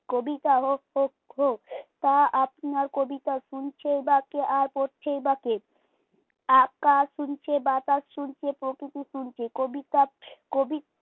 কবিতা হোক হোক হোক তা আপনার কবিতা শুনছেই বা কে আর পড়ছেই বা কে? আকাশ শুনছে বাতাস শুনছে প্রকৃতি শুনছে কবিতা কবি